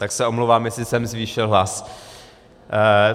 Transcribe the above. Tak se omlouvám, jestli jsem zvýšil hlas.